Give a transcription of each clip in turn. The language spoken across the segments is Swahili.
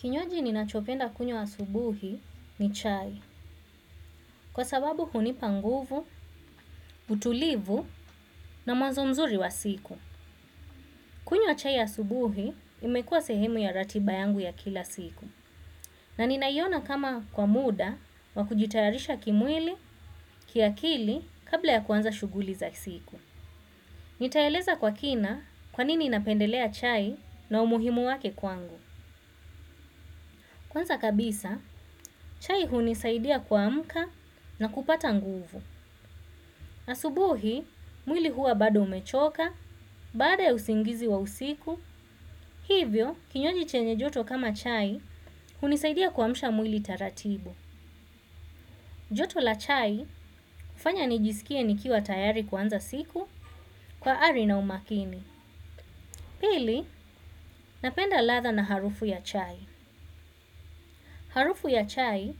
Kinywaji ninachopenda kunywa asubuhi ni chai. Kwa sababu hunipa nguvu, utulivu na mwanzo mzuri wa siku. Kunywa chai ya asubuhi umekua sehemu ya ratiba yangu ya kila siku. Na nina iona kama kwa muda wa kujitayarisha kimwili kiakili kabla ya kwanza shuguli za siku. Nitaeleza kwa kina kwanini napendelea chai na umuhimu wake kwangu. Kwanza kabisa, chai hunisaidia kuamka na kupata nguvu. Asubuhi, mwili huwa bado umechoka, baada ya usingizi wa usiku. Hivyo, kinywaji chenye joto kama chai, hunisaidia kuamsha mwili taratibu. Joto la chai, hufanya nijisikie nikiwa tayari kuanza siku kwa ari na umakini. Pili, napenda ladha na harufu ya chai. Harufu ya chai,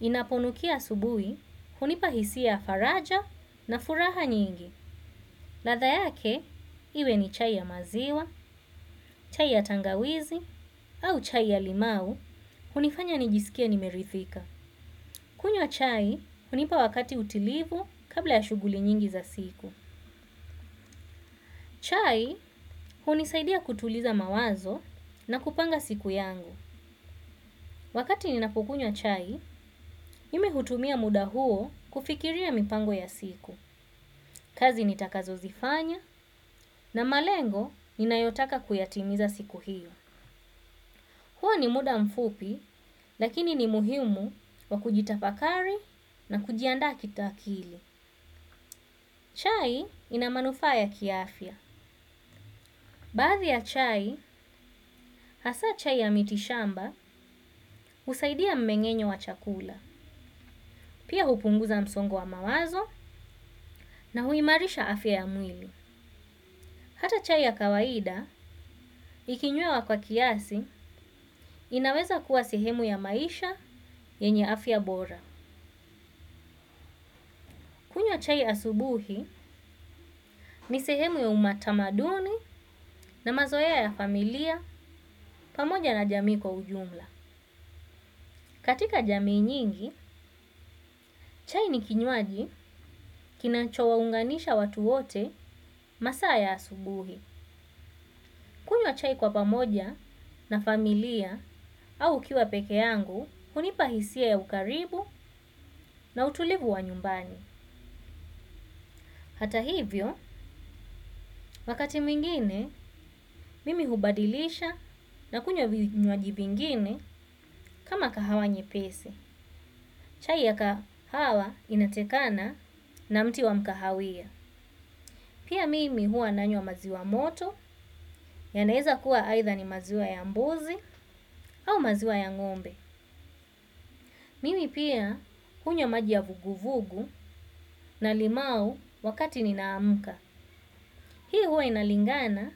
inaponukia asubuhi, hunipa hisia ya faraja na furaha nyingi. Ladha yake, iwe ni chai ya maziwa, chai ya tangawizi, au chai ya limau, hunifanya nijisikie nimerithika. Kunywa chai hunipa wakati utulivu kabla ya shughuli nyingi za siku. Chai, hunisaidia kutuliza mawazo na kupanga siku yangu. Wakati ninapo kunywa chai, mimi hutumia muda huo kufikiria mipango ya siku. Kazi nitakazo zifanya na malengo ninayotaka kuyatimiza siku hiyo. Huo ni muda mfupi, lakini ni muhimu wa kujitafakari na kujiandaa kitakili. Chai ina manufaa ya kiafya. Baadhi ya chai, hasa chai ya mitishamba husaidia mmengenyo wa chakula. Pia hupunguza msongo wa mawazo na huimarisha afya ya mwili. Hata chai ya kawaida, ikinywewa kwa kiasi, inaweza kuwa sehemu ya maisha yenye afya bora. Kunywa chai asubuhi, ni sehemu ya umatamaduni na mazoea ya familia pamoja na jamii kwa ujumla. Katika jamii nyingi, chai ni kinywaji kinachowaunganisha watu wote masaa ya asubuhi. Kunywa chai kwa pamoja na familia au nikiwa peke yangu hunipa hisia ya ukaribu na utulivu wa nyumbani. Hata hivyo, wakati mwingine, mimi hubadilisha na kunywa vinywaji vingine kama kahawa nyepesi. Chai ya kahawa inatokana na mti wa mkahawia. Pia mimi hua nanywa maziwa moto, yanaeza kuwa aitha ni maziwa ya mbuzi au maziwa ya ngombe. Mimi pia hunywa maji ya vuguvugu na limau wakati ninaamka. Pia huwa inalingana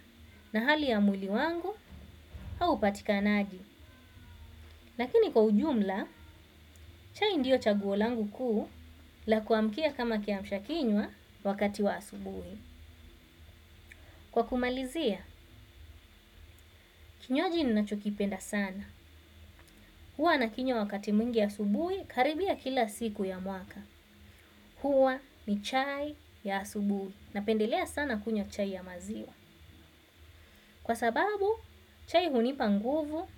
na hali ya mwili wangu au upatikanaji lakini kwa ujumla, chai ndio chaguo langu kuu la kuamkia kama kiamsha kinywa wakati wa asubui. Kwa kumalizia, kinywaji ninachokipenda sana. Huwa na kinywa wakati mwingi asubuhi karibia kila siku ya mwaka. Huwa ni chai ya asubui napendelea sana kunywa chai ya maziwa. Kwa sababu chai hunipa nguvu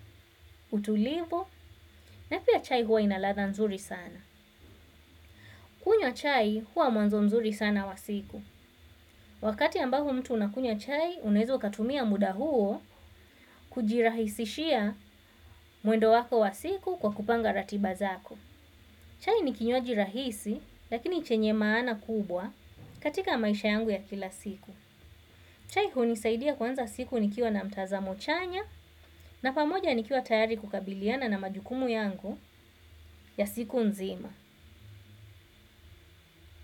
utulivu na pia chai hua ina ladha nzuri sana kunywa chai huwa mwanzo mzuri sana wa siku. Wakati ambao mtu anakunywa chai unaweza ukatumia muda huo kujirahisishia mwendo wako wa siku kwa kupanga ratiba zako. Chai ni kinywaji rahisi lakini chenye maana kubwa katika maisha yangu ya kila siku. Chai hunisaidia kuanza siku nikiwa na mtazamo chanya na pamoja nikiwa tayari kukabiliana na majukumu yangu ya siku nzima.